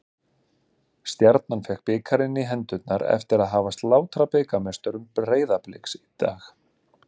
Stjarnan fékk bikarinn í hendurnar eftir að hafa slátrað bikarmeisturum Breiðabliks í dag.